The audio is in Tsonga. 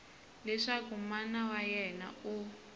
leswaku mana wa yena u